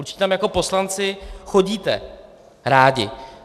Určitě tam jako poslanci chodíte rádi.